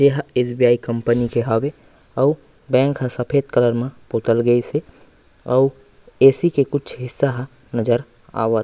एहा SBI company के हावे अऊ बैंक ह सफ़ेद कलर म पोतल गइसे अऊ ऐ_सी के कुछ हिस्सा ह नज़र आवत--